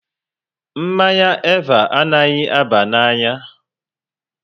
Mmanya Eva anaghị aba n'anya